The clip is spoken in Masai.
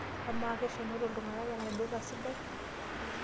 Amaa keshomoita iltung'anak enaidura sidai?